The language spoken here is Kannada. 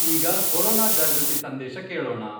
ಈಗ ಕೊರೊನಾ ಜಾಗೃತಿ ಸಂದೇಶ ಕೇಳೋಣ.